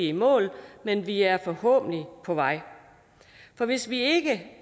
i mål men vi er forhåbentlig på vej for hvis vi